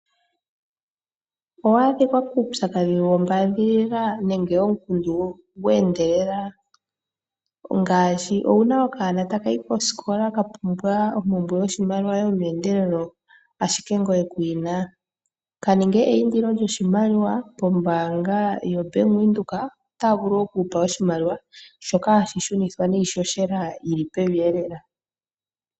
Owa adhika kuupyakadhi wo mbaadhilila nenge omukundu gwe endelela ngaashi owuna okanona taka yi kosikola ka pumbwa ompumbwe yoshimaliwa yomeendelelo ashike ngoye ku yina, kaninge eindilo lyoshimaliwa pombaanga yoBank Windhoek, otaya vulu oku ku pa oshimaliwa, shoka hashi shunithwa niihohela yili pevi elela.